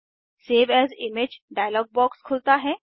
save as image dialog box खुलता है